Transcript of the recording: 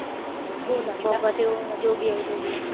ਭੋਲਾ ਬਾਬਾ ਤੇ ਜੋਗੀਆਂ ਤੇ ਜੋਗੀਆਂ।